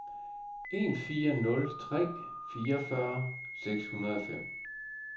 en fire nul tre fireogfyrre seks hundrede og fem